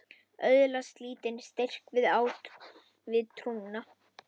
Öðlast lítinn styrk við trúna.